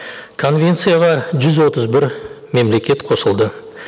конвенцияға жүз отыз бір мемлекет қосылды